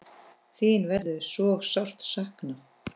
Þín verður svo sárt saknað.